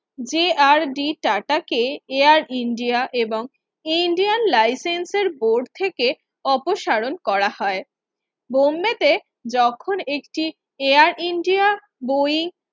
যে R D Tata কে Air India এবং Indian license board থেকে অপসারণ করা হয় বোম্বেতে যখন একটি Air India বই